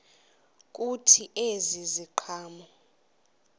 kuthi ezi ziqhamo